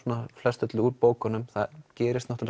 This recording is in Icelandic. flest öllu í bókunum það gerist